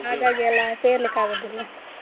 ಹಾಗಾಗಿ ಎಲ್ಲ ಸೇರ್ಲಿಕ್ಕಾಗುದಿಲ್ಲ.